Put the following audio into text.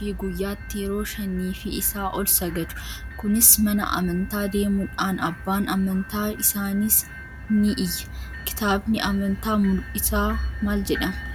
fi guyyaatti yeroo shanii fi isaa ol sagadu. Kunis mana amantaa deemudhaan abbaan amantaa isaaniis ni iyya. Kitaabni amantaa musliimaa maal jedhamaa?